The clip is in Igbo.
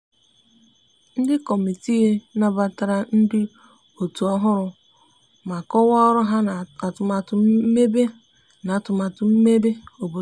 ndi kọmitịị nabatara ndi otu ohụrụ ma kowaa ọrụ ha na atumatu mmebe na atumatu mmebe obodo